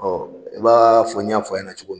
i b'a fɔ n y' fɔ a ɲɛna cogo min na.